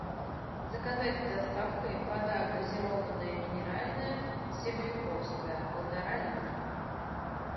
заказать с доставкой вода газированная минеральная себряковская полтора литра